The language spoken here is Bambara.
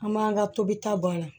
An m'an ka tobita bɔ a la